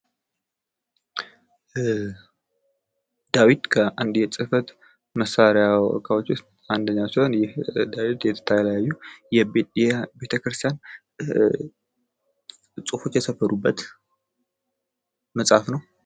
ዳዊት ከአንድ የጽህፈት መሳሪያዎች ዉስጥ አንዱ ሲሆን ይህም ዳዊት የተከያዩ የቤተክርስትያን ጽሁፎች የሰፈሩበት መጽሃፍ ነው።